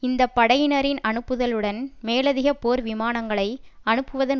இந்த படையினரின் அனுப்புதலுடன் மேலதிக போர் விமானங்களை அனுப்புவதன்